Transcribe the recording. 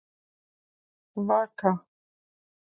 Vaka